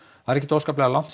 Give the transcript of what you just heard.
það er ekkert óskaplega langt